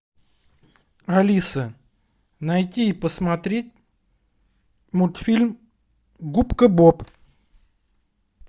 алиса найти и посмотреть мультфильм губка боб